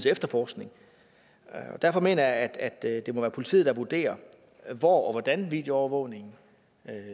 efterforskning derfor mener jeg at det må være politiet der vurderer hvor og hvordan videoovervågningen